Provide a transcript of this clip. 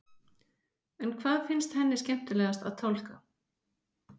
En hvað finnst henni skemmtilegast að tálga?